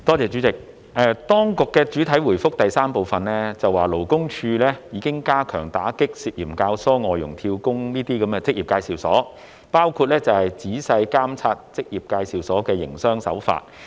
主席，當局在主體答覆第三部分表示，勞工處已經加強打擊涉嫌教唆外傭"跳工"的職業介紹所，包括仔細監察職業介紹所的營商手法。